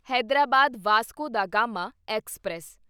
Hyderabad Vasco da Gama express